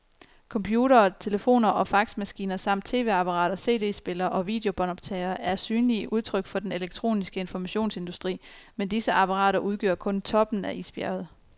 Computere, telefoner og faxmaskiner samt tv-apparater, cd-spillere og videobåndoptagere er synlige udtryk for den elektroniske informationsindustri, men disse apparater udgør kun toppen af isbjerget.